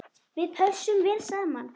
Við pössum vel saman.